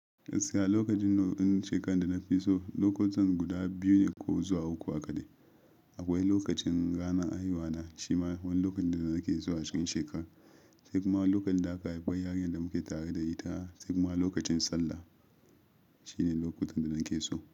Gaskiya lokacin nau'in shekar da na fi so, lokutan guda biyu ne ko zuwa uku a kaɗai. Akwai lokacin rana haihuwa na, shi ma wani lokacin da nake so a cikin shekar. Sai kuma lokacin da aka haifi yarinyar da muke tare da ita. Sai kuma lokacin Sallah shine lokutan da nake so.